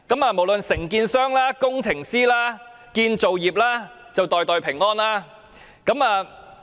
無論承建商、工程師、建造業便會"袋袋平安"。